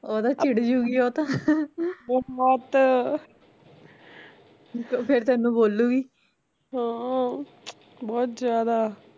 ਓਹ ਤਾਂ ਛਿੜ ਜੁਗੀ ਉਹ ਤਾ ਫੇਰ ਤੈਨੂੰ ਬੋਲੂੰਗੀ